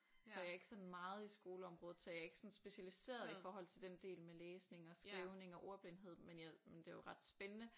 Så jeg ikke sådan meget i skoleområdet så jeg ikke sådan specialiseret i forhold til den del med læsning og skrivning og ordblindhed men jeg men det er jo ret spændende